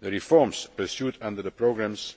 The reforms pursued under the programmes